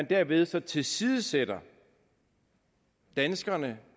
derved så tilsidesætter danskerne